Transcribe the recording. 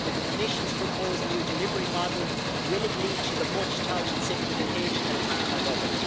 With the Commission's proposed new delivery model, will it lead to the much touted simplification at farmer level?